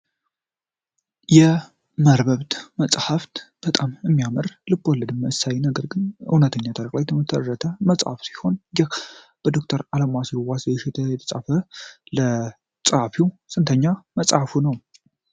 የመርበብት መጽሃፍት በጣም እሚያምራል ልብ ወለድ መሰል ግን እውነተኛ ተደርጎ የተመጠነ መጽሐፍ ሲሆን፤ ይህ በ ዶክተር አልዋሲሁን ዋሴ የተጻፈ ለጸሃፊው ስንተኛ መጽሐፉ ነው?